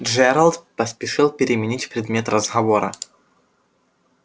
джералд поспешил переменить предмет разговора